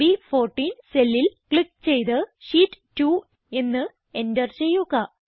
ബ്14 cellൽ ക്ലിക്ക് ചെയ്ത് ഷീറ്റ് 2 എന്ന് എന്റർ ചെയ്യുക